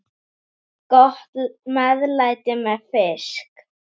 Gott meðlæti með fiski.